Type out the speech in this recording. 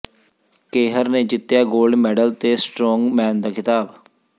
ਕੇਹਰ ਨੇ ਜਿੱਤਿਆ gold medal ਤੇ ਸਟਰੋਂਗ ਮੈਨ ਦਾ ਖ਼ਿਤਾਬ